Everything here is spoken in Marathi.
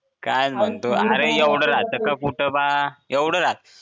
काय म्हणतो एवढं कुठं राहत का कुठं बा एवढं राहत